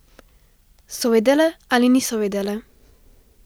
So vedele ali niso vedele?